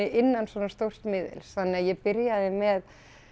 innan svona stórs miðils þannig að ég byrjaði með